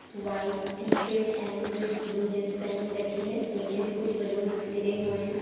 White T shirt and blue jeans पेहनी रखी है नीचे भी कुछ बलून्स गिरे हुए है।